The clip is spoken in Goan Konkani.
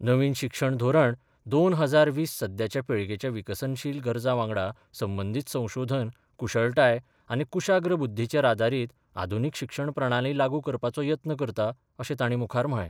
नवीन शिक्षण धोरण दोन हजार वीस सध्याच्या पिळगेच्या विकसनशील गरजा वांगडा संबंदीत संशोधन, कुशळटाय आनी कुशाग्र बुद्धीचेर आदारीत आधुनीक शिक्षण प्रणाली लागू करपाचो यत्न करता अशें तांणी मुखार म्हळें.